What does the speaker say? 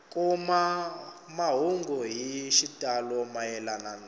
kuma mahungu hi xitalo mayelana